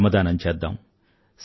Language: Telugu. శ్రమదానం చేద్దాం